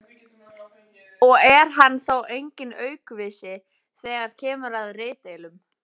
og er hann þó enginn aukvisi þegar kemur að ritdeilum.